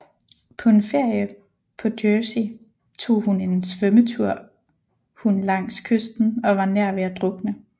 På en ferie på Jersey tog hun en svømmetur hun langs kysten og var nær ved at drukne